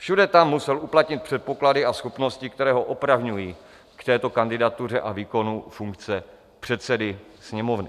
Všude tam musel uplatnit předpoklady a schopnosti, které ho opravňují k této kandidatuře a výkonu funkce předsedy Sněmovny.